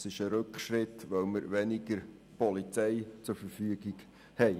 Es wäre ein Rückschritt, weil wir weniger Polizei zur Verfügung hätten.